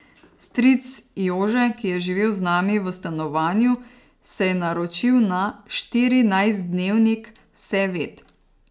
Stric Jože, ki je živel z nami v stanovanju, se je naročil na štirinajstdnevnik Vseved.